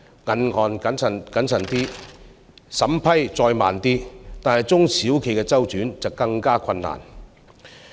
銀行謹慎點，審批再慢點，中小企的周轉則更為困難。